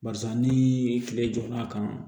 Barisa ni kile jɔnn'a kan